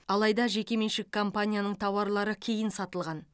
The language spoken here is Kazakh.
алайда жекеменшік компанияның тауарлары кейін сатылған